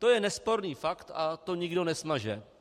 To je nesporný fakt a to nikdo nesmaže.